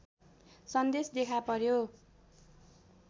सन्देश देखा पर्‍यो